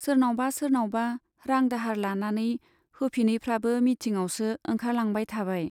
सोरनावबा सोरनावबा रां दाहार लानानै होफिनैफ्राबो मिटिंआवसो ओंखारलांबाय थाबाय।